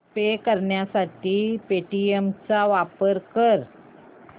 पे करण्यासाठी पेटीएम चा वापर कर